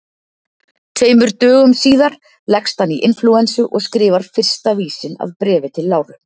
Tveimur dögum síðar leggst hann í inflúensu og skrifar fyrsta vísinn að Bréfi til Láru.